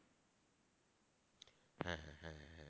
হ্যাঁ হ্যাঁ হ্যাঁ